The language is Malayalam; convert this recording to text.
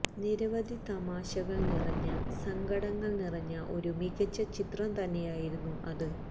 നിരവധി തമാശകള് നിറഞ്ഞ സങ്കടങ്ങള് നിറഞ്ഞ ഒരു മികച്ച ചിത്രം തന്നെയായിരുന്നു അത്